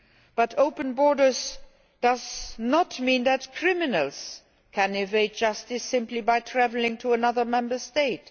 EU. But open borders do not mean that criminals can evade justice simply by travelling to another Member State.